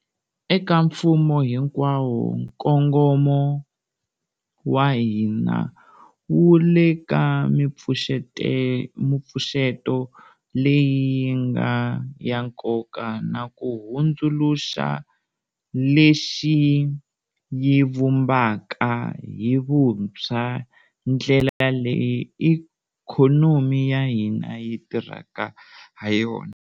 Eka mfumo hinkwawo, nkongomo wa hina wu le ka mipfuxeto leyi yi nga ya nkoka na ku hundzuluxa, lexi yi vumbaka hi vuntshwa ndlela leyi ikhonomi ya hina yi tirhaka hayona.